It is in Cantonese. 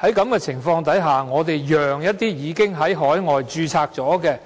在這種情況下，我們讓該等已經在海外註冊的